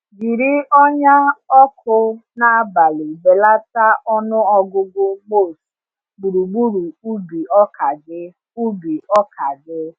Jiri ọnyà ọkụ n’abalị belata ọnụ ọgụgụ moths gburugburu ubi ọka gị. ubi ọka gị.